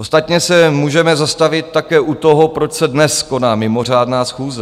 Ostatně se můžeme zastavit také u toho, proč se dnes koná mimořádná schůze.